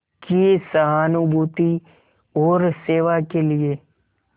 की सहानुभूति और सेवा के लिए